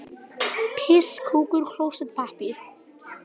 Áslaug var að reyna að kjafta mig í hel.